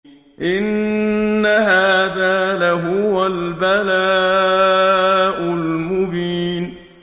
إِنَّ هَٰذَا لَهُوَ الْبَلَاءُ الْمُبِينُ